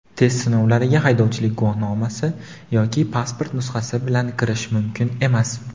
Test sinovlariga haydovchilik guvohnomasi yoki pasport nusxasi bilan kirish mumkin emas.